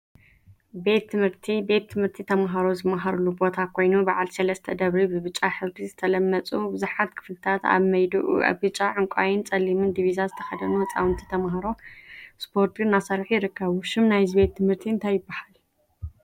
ቤት ትምህርቲ ቤት ትምህርቲ ተምሃሮ ዝምሃሩሉ ቦታ ኮይኑ፤ በዓል ሰለስተ ደብሪ ብብጫ ሕብሪ ዝተለመፁ ብዙሓት ክፍሊታት አብ መይድኡ ብጫ፣ ዕንቋይን ፀሊምን ዲቪዛ ዝተከደኑ ህፃውንቲ ተምሃሮ እስፖርቲ እናሰርሑ ይርከቡ፡፡ ሽም ናይዚ ቤት ትምህርቲ እንታይ ይበሃል?